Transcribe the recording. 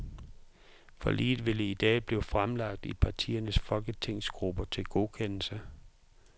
Forliget vil i dag blive fremlagt i partiernes folketingsgrupper til godkendelse.